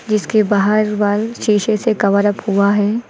इसके बाहर वाल शीशे से कवर अप हुआ है।